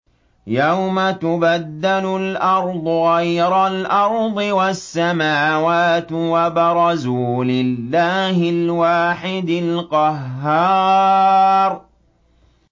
يَوْمَ تُبَدَّلُ الْأَرْضُ غَيْرَ الْأَرْضِ وَالسَّمَاوَاتُ ۖ وَبَرَزُوا لِلَّهِ الْوَاحِدِ الْقَهَّارِ